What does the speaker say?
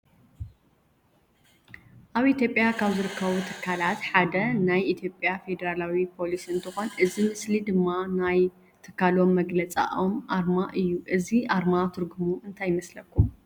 አብ ኢትዮጲያ ካብ ዝርከቡ ትካላት ሓደ ናይኢትዮጲያ ፌደራል ፓሊስ እንትኮን እዚ ምስሊ ድማ ናይ ትካሎም መግለፂኦም አርማ እዩ። እዚ አርማ ትርጉሙ እንታይ ይመስለኩም?